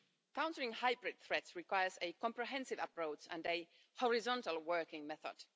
Countering hybrid threats requires a comprehensive approach and a horizontal working method.